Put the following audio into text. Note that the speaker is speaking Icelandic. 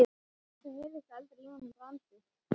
Það heyrðist aldrei í honum Brandi.